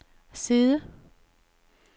side